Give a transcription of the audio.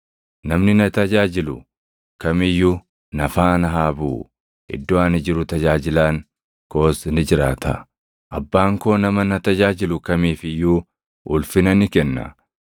Namni na tajaajilu kam iyyuu na faana haa buʼu; iddoo ani jiru tajaajilaan koos ni jiraata. Abbaan koo nama na tajaajilu kamiif iyyuu ulfina ni kenna.